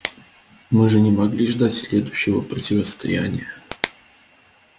мы же не могли ждать следующего противостояния